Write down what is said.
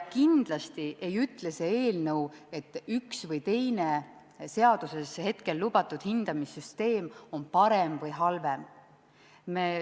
Kindlasti ei ütle see eelnõu, et üks või teine seaduses hetkel lubatud hindamissüsteem on parem või halvem.